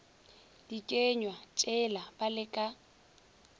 dikenywa tšela ba le ka